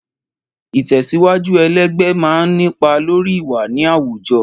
Ìtẹ̀síwájú ẹlẹgbẹ́ máa ń nípa lórí ìwà ní àwùjọ.